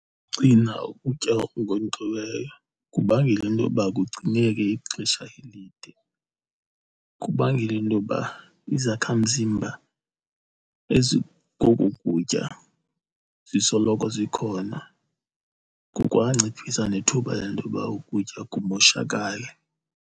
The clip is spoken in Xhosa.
Ukugcina ukutya okunkonkxiweyo kubangela into yoba kugcineke ixesha elide, kubangela into yoba izakhamzimba ezikoku kutya zisoloko zikhona, kukwanciphisa nethuba lentoba ukutya kumoshakale.